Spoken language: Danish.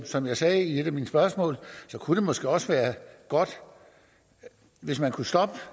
som jeg sagde i et af mine spørgsmål kunne det måske også være godt hvis man kunne stoppe